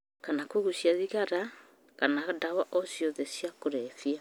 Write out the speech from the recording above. Kana kũgũcia thigara kana ndawa o ciothe cia kũrebia